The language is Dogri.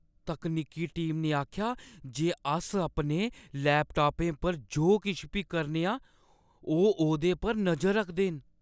तकनीकी टीम ने आखेआ जे अस अपने लैपटापें पर जो किश बी करने आं, ओह् ओह्दे पर नजर रखदे न।